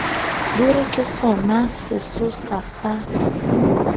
di re ke sonasesosa sa